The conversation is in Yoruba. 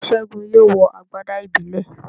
Segun yóò wọ agbada ìbílẹ̀.